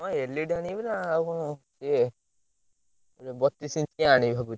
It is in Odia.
ହଁ LED ନା ଆଉ କଣ? ଇଏ ଗୋଟେ ବତିଶି ଇଞ୍ଚିଆ ଆଣିବି ଭାବୁଛି।